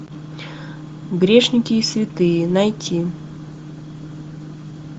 грешники и святые найти